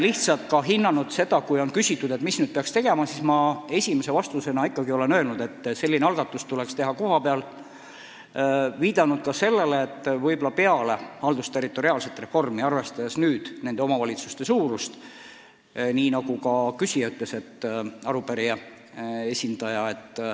Nii et kui minult on küsitud, mis nüüd peaks tegema, siis ma esimese vastusena olen ikka öelnud, et algatus tuleks teha kohapeal, ja viidanud ka sellele, et võib-olla suhtutakse väiksemates omavalitsustes haldusterritoriaalsesse reformi valuliselt.